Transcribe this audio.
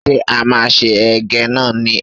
Ṣé a máa se Ẹ̀gẹ́ náà ni?